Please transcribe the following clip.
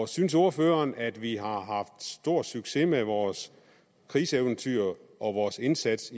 synes ordføreren at vi har haft stor succes med vores krigseventyr og vores indsats